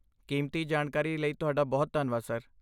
ਕੀਮਤੀ ਜਾਣਕਾਰੀ ਲਈ ਤੁਹਾਡਾ ਬਹੁਤ ਧੰਨਵਾਦ, ਸਰ।